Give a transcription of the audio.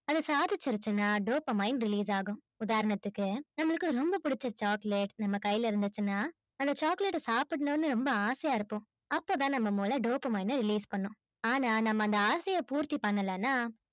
அது சாதிச்சிருச்சுன்னா dopamine release ஆகும் உதாரணத்துக்கு நம்மளுக்கு ரொம்ப பிடிச்ச chocolate நம்ம கையில இருந்துச்சுன்னா அந்த chocolate ஐ சாப்பிடணும்ன்னு ரொம்ப ஆசையா இருப்போம் அப்பதான் நம்ம முளை dopamine அ release பண்ணும் ஆனா நம்ம அந்த ஆசையை பூர்த்தி பண்ணலைன்னா